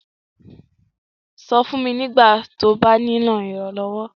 Sọ̀ fun mí nígbàtí ó bá nilo iránlọ́wọ́.